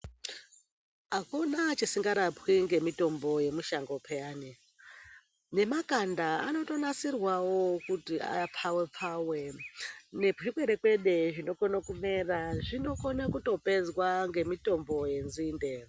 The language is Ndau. Akuna chisingarapwi ngemutombo yemushango payane .Nemakanda anotonasirwawo kuti apfawe pfawe ,nezvikwerekwede zvinokone kumera zvinokone kutopedzwa ngemutombo wenzinde.